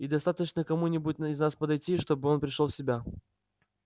и достаточно кому-нибудь из нас подойти чтобы он пришёл в себя